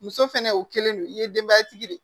Muso fɛnɛ o kelen don i ye denbaya tigi de ye